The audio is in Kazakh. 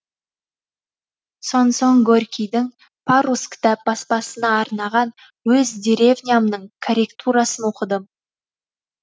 сонсоң горькийдің парус кітап баспасына арнаған өз деревнямның корректурасын оқыдым